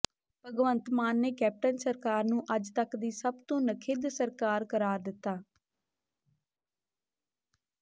ਭਗਵੰਤ ਮਾਨ ਨੇ ਕੈਪਟਨ ਸਰਕਾਰ ਨੂੰ ਅੱਜ ਤੱਕ ਦੀ ਸਭ ਤੋਂ ਨਖਿੱਧ ਸਰਕਾਰ ਕਰਾਰ ਦਿੱਤਾ